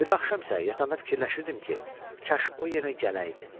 O biri axşam isə yatanda fikirləşirdim ki, kaş o yenə gələydi.